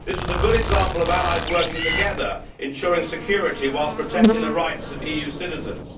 This was a good example of allies working together, ensuring security whilst protecting the rights of EU citizens.